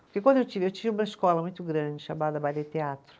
Porque quando eu tive, eu tive uma escola muito grande, chamada Baile e Teatro.